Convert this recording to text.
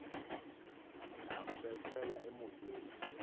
nabo bekhwela emotweni